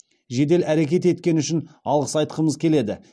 жедел әрекет еткені үшін алғыс айтқымыз келеді